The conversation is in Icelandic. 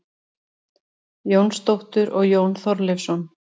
Jónsdóttur og Jón Þorleifsson.